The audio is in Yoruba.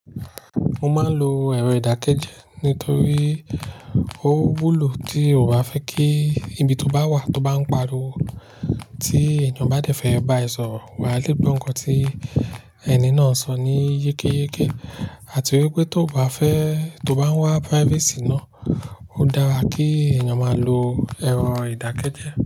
Mo máa ń lo ẹ̀rọ ìdákẹ́jẹ́ nítorí ó wúlò tí o bá fẹ́ kí ibi tó bá wà tó bá ń pariwo tí ènìyàn bá dẹ̀fẹ̀ ẹ ba ẹ sọ̀rọ̀, wà á le gbọ́ nǹkan tí ẹni náà sọ ní yékéyéké àti wípé tó bá fẹ́ tó bá ń wá privacy náà ó dára kí ènìyàn máa lo ẹ̀rọ ìdákẹ́jẹ́.